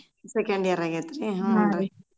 Second year ಅಗೆತ್ರೀ ಹ್ಮ್.